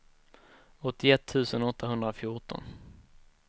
åttioett tusen åttahundrafjorton